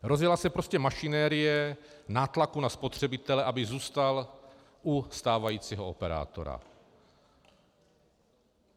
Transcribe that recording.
Rozjela se prostě mašinérie nátlaku na spotřebitele, aby zůstal u stávajícího operátora.